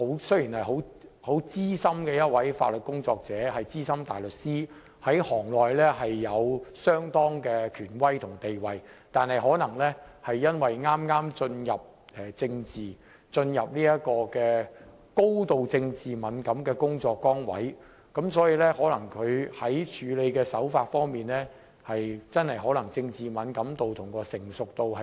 雖然她是資深的法律工作者、資深大律師，在行內有相當的權威和地位，但她剛剛進入這個高度政治敏感的工作崗位，其處理手法可能欠缺政治敏感度及成熟度。